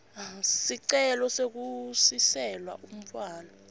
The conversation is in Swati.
sicelo sekusiselwa umntfwana